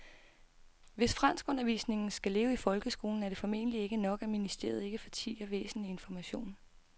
Hvis franskundervisningen skal leve i folkeskolen er det formentlig ikke nok, at ministeriet ikke fortier væsentlig information.